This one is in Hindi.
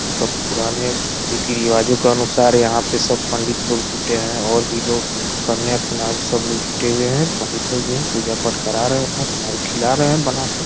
मतलब पुराने रीति रिवाजों के अनुसार यहाँ पे सब पंडित लोग जुटे हैं और भी लोग कन्या कुनारी सब लोग जुटे हुए है। पंडित लोग भी हैं पूजा पाठ करा रहे हैं अपना को खिला रहे हैं बना के।